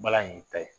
Balani ta ye